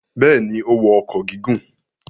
Bẹ́ẹ̀ ni, ó wọ ọkọ̀ gígùn.